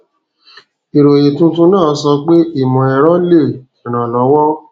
ìròyìn tuntun náà sọ pé ìmọ ẹrọ lè irànlọwo